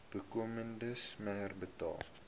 bykomende smere betaal